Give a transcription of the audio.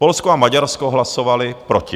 Polsko a Maďarsko hlasovaly proti.